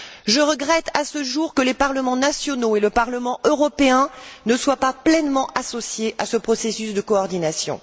Je regrette à ce jour que les parlements nationaux et le Parlement européen ne soient pas pleinement associés à ce processus de coordination.